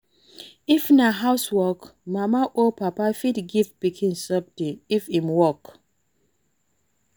If na house work, mama or papa fit give pikin something if im work